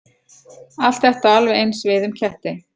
Allt þetta á alveg eins við um ketti.